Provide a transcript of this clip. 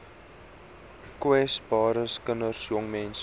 kwesbares kinders jongmense